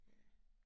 Ja